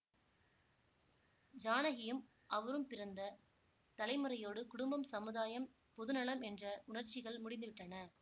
ஜானகியும் அவரும் பிறந்த தலைமுறையோடு குடும்பம் சமுதாயம் பொது நலம் என்ற உணர்ச்சிகள் முடிந்து விட்டன